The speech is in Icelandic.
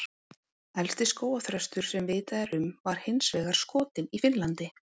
Elsti skógarþröstur sem vitað er um var hins vegar skotinn í Finnlandi.